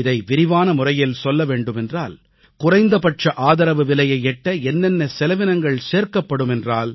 இதை விரிவான முறையில் சொல்ல வேண்டுமென்றால் குறைந்தபட்ச ஆதரவுவிலையை எட்ட என்னென்ன செலவினங்கள் சேர்க்கப்படுமென்றால்